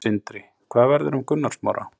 Sindri: Hvað verður um Gunnar Smára?